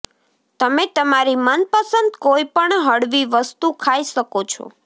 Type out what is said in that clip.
તમે તમારી મનપસંદ કોઇપણ હળવી વસ્તુ ખાઈ શકો છો